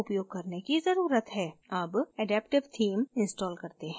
अब adaptive theme install करते हैं